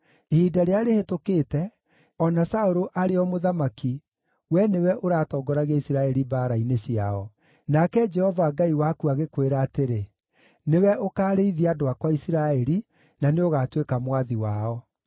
Ihinda rĩrĩa rĩhĩtũkĩte, o na Saũlũ arĩ o mũthamaki, wee nĩwe ũratongoragia Isiraeli mbaara-inĩ ciao. Nake Jehova Ngai waku agĩkwĩra atĩrĩ, ‘Nĩwe ũkaarĩithia andũ akwa Isiraeli, na nĩũgatuĩka mwathi wao.’ ”